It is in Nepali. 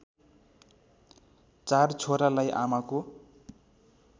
चार छोरालाई आमाको